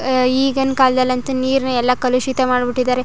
ಈಗಿನ ಕಾಲದಲ್ಲಂತೂ ನೀರನ್ನು ಎಲ್ಲ ಕಲುಷಿತ ಮಾಡಿಬಿಟ್ಟಿದ್ದಾರೆ.